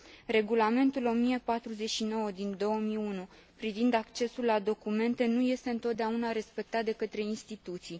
Regulamentul 1049 din 2001 privind accesul la documente nu este întotdeauna respectat de către instituții.